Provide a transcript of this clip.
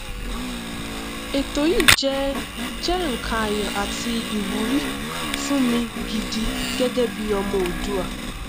ètò yìí jẹ jẹ nnkan ayọ àti ìwúrí fún mi gidi gẹgẹ bí ọmọ oòduà